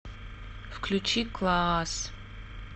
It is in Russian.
включи клаас